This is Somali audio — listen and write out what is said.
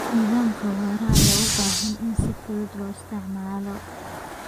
Nidaamyada waraabka ayaa u baahan in si fudud loo isticmaalo.